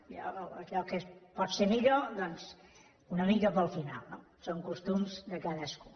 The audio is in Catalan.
jo allò que pot ser millor doncs una mica per al final no són costums de cadascú